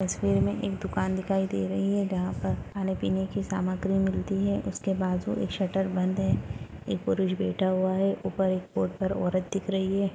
तस्वीर में एक दुकान दिखाई रही है जहाँ पर खाने-पिने की सामग्री मिलती है उसके बाजू एक शटर बंद है एक पुरुष बैठा हुआ है ऊपर एक बोर्ड पर एक औरत दिख रही है।